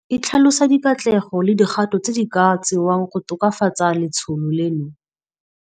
E tlhalosa dikatlego le dikgato tse di ka tsewang go tokafatsa letsholo leno.